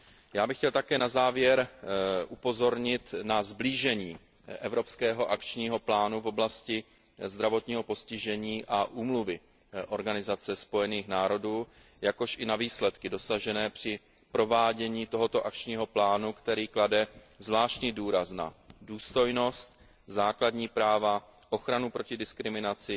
Já bych chtěl také na závěr upozornit na sblížení evropského akčního plánu v oblasti zdravotního postižení a Úmluvy OSN, jakož i na výsledky dosažené při provádění tohoto akčního plánu, který klade zvláštní důraz na důstojnost, základní práva, ochranu proti diskriminaci,